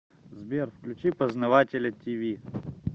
сбер включи познавателя ти ви